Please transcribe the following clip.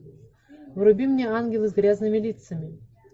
вруби мне ангелы с грязными лицами